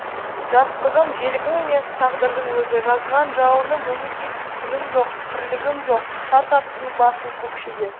жастығым желігім емес тағдырдың өзі жазған жалыным үмітейсіз күнім жоқ тірлігім жоқ тарт аттың басын көкшеге